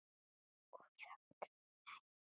Og þögnin ríkir ein.